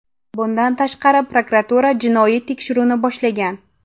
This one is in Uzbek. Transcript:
Bundan tashqari, prokuratura jinoiy tekshiruvni boshlagan.